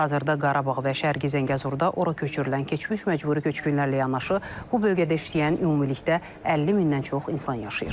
Hazırda Qarabağ və Şərqi Zəngəzurda ora köçürülən keçmiş məcburi köçkünlərlə yanaşı, bu bölgədə işləyən ümumilikdə 50 mindən çox insan yaşayır.